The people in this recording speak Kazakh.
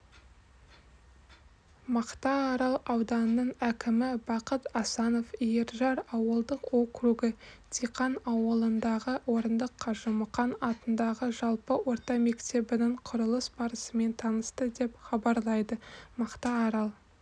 мақтаарал ауданының әкімі бақыт асанов иіржар ауылдық округі диқан ауылындағы орындық қажымұқан атындағы жалпы орта мектебінің құрылыс барысымен танысты деп хабарлайдымақтаарал